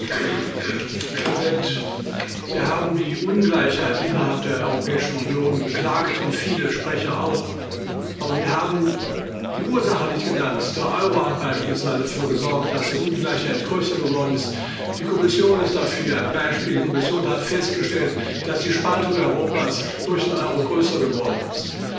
Herr Präsident! Herr Ministerpräsident! Sie haben die Ungleichheit innerhalb der Europäischen Union beklagt und viele Sprecher auch. Aber wir haben die Ursache nicht genannt Der Euro hat beispielsweise dafür gesorgt, dass die Ungleichheit größer geworden ist. Die Kommission ist dafür ein Beispiel Die Kommission hat festgestellt, dass die Spaltung Europas durch den Euro größer geworden ist.